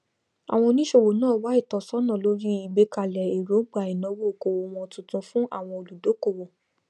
àwọn oníṣòwò náà wá ìtọsọnà lórí ìgbékalẹ èròńgbà ìnàwó okòwò wọn tuntun fun àwọn olùdókòwò